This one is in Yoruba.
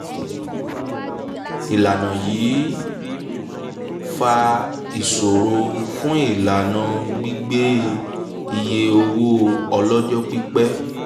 ìlànà yìí ń fa ìṣòro fún ìlànà gbígbé iye owó ọlọ́jọ́ pípẹ́.